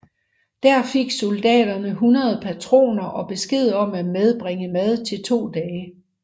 Der fik soldaterne 100 patroner og besked om at medbringe mad til to dage